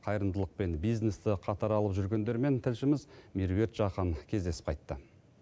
қайырымдылық пен бизнесті қатар алып жүргендерімен тілшіміз меруерт жақан кездесіп қайтты